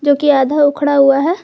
जोकि आधा उखड़ा हुआ है।